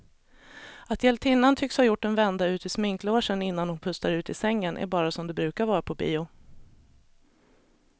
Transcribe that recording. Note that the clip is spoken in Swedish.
Att hjältinnan tycks ha gjort en vända ut i sminklogen innan hon pustar ut i sängen är bara som det brukar vara på bio.